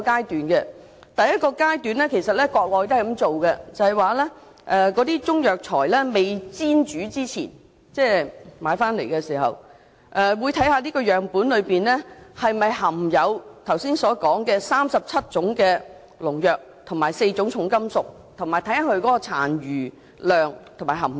在第一個階段——國內也採用這做法——也就是在中藥材買回來未煎煮之前，政府會檢測樣本是否含有該37種農藥及4種重金屬，以及其殘留量及含量。